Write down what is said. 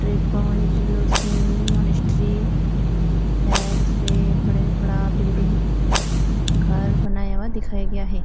Drepung Loseling monastery है। उसपे बड़े- बड़ा बिल्डिंग घर बनाया हुआ दिखाया गया है।